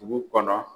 Dugu kɔnɔ